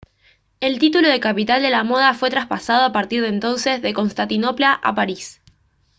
el título de «capital de la moda» fue traspasado a partir de entonces de constantinopla a parís